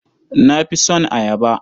Na fi son ayaba.